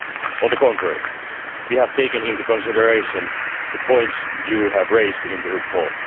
On the contrary, we have taken into consideration the points you have raised in the report.